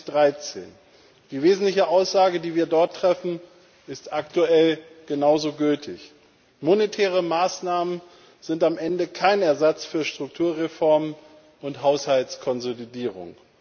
2013. Die wesentliche Aussage, die wir dort treffen, ist aktuell genauso gültig Monetäre Maßnahmen sind am Ende kein Ersatz für Strukturreformen und Haushaltskonsolidierung.